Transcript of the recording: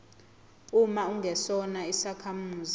uma ungesona isakhamuzi